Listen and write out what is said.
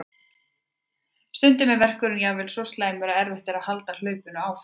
Stundum er verkurinn jafnvel svo slæmur að erfitt er að halda hlaupinu áfram.